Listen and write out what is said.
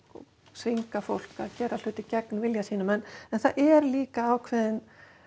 þvinga fólk til að gera hluti gegn vilja sínum en það er líka ákveðin